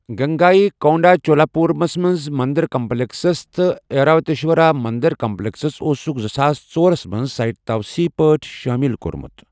گنگائی کونڈہ چولاپورمَس منٛز مٔنٛدِر کمپلیکس تہٕ ایراوتیشورا مٔنٛدِر کمپلیکسس اوسُکھ زٕساس ژورَس منٛز سائٹ تَوسیٖع پٲٹھۍ شٲمِل کوٚرمُت۔